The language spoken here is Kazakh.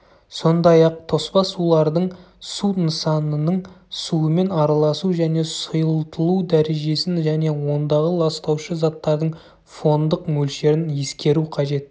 сондай-ақ тоспа сулардың су нысанының суымен араласу және сұйылтылу дәрежесін және ондағы ластаушы заттардың фондық мөлшерін ескеру қажет